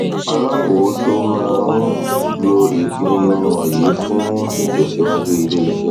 alákòóso máa lò ìpinnu wọnyí fún ìtẹsíwájú iléiṣẹ